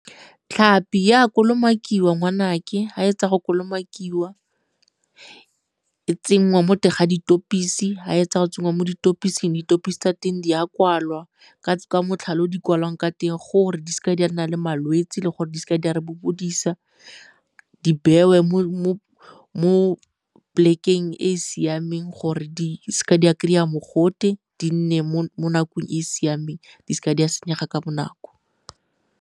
Tllhapi e a kolomakiwa ngwanake, fa e fetsa go kolomakiwa e tsenngwa mo teng ga , fa e etsa go tsenngwa mo tsa teng di a kwalwa ka motlhale o di kwalwang ka teng gore di seke di a nna le malwetse le gore di seke di a re bobodisa, di bewe mo plek-eng e e siameng gore di seke di a kry-a mogote, di nne mo nakong e e siameng di seke di a senyega ka bonako.